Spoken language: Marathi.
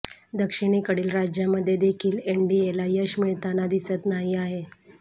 दक्षिणेकडील राज्यांमध्ये देखील एनडीएला यश मिळताना दिसत नाही आहे